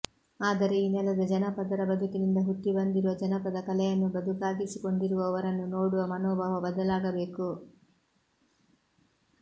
ಆದರೆ ಈ ನೆಲದ ಜನಪದರ ಬದುಕಿನಿಂದ ಹುಟ್ಟಿ ಬಂದಿರುವ ಜಾನಪದ ಕಲೆಯನ್ನು ಬದುಕಾಗಿಸಿಕೊಂಡಿರುವವರನ್ನು ನೋಡುವ ಮನೋಭಾವ ಬದಲಾಗಬೇಕು